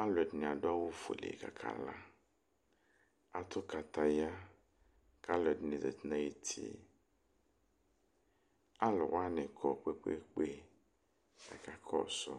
alʋ ɛdini adʋ awʋ fuele kʋ aka la atʋ kataya kʋ alʋ ɛdini zati nʋ ayʋ uti alʋ wani kɔ kpe kpe kpe kʋ aka kɔsʋ